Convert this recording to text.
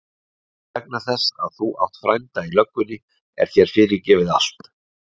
En vegna þess að þú átt frænda í löggunni er þér fyrirgefið allt.